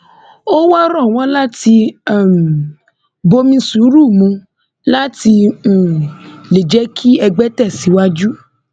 ó wáá rọ wọn láti um bomi sùúrù mu láti um lè jẹ kí ẹgbẹ tẹsíwájú